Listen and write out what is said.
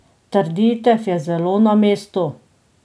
Trditev je zelo na mestu ...